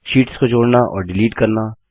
sheets को जोड़ना और डिलीट करना